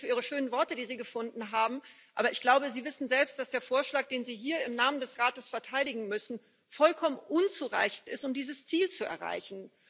Ich danke Ihnen für Ihre schönen Worte, die Sie gefunden haben, aber ich glaube, Sie wissen selbst, dass der Vorschlag, den Sie hier im Namen des Rates verteidigen müssen, vollkommen unzureichend ist, um dieses Ziel zu erreichen.